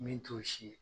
Min t'o si ye